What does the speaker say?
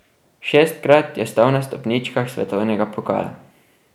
Šestkrat je stal na stopničkah svetovnega pokala.